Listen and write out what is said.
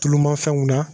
Tulu ma fɛnw na